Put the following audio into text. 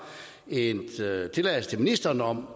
en tilladelse til ministeren om